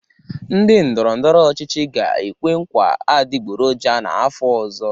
Ndị ndọrọ ndọrọ ọchịchị ga-ekwe nkwa adịgboroja n'afọ ọzọ.